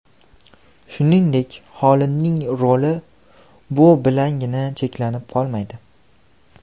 Shuningdek, xolinning roli bu bilangina cheklanib qolmaydi.